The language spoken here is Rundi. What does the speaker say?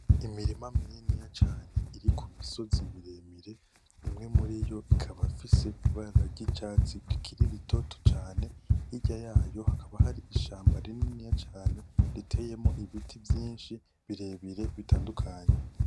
Imirima mininiya cane iri kumusozi miremire ,imwe muriyo ikaba ifise ibara ryicatsi rikiri ritoto cane hirya yayo hakaba hari ishamba rininiya cane ritiyemwo ibiti vyinshi birebire bitandukanye .